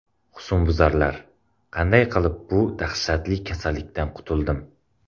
Husnbuzarlar...Qanday qilib bu dahshatli kasallikdan qutuldim?.